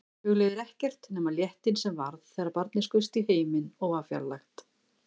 Hugleiðir ekkert nema léttinn sem varð þegar barnið skaust í heiminn og var fjarlægt.